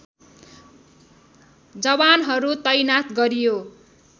जवानहरू तैनाथ गरियो